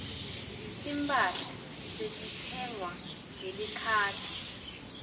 timphahla setitsengwa ngelikhadi